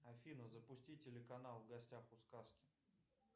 афина запусти телеканал в гостях у сказки